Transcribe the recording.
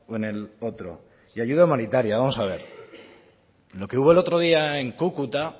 en el otro y ayuda humanitaria vamos a ver lo que hubo el otro día en cúcuta